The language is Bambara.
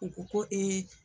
U ko ko